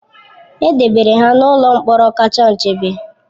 E debere ha n'ụlọ mkpọrọ kacha nchebe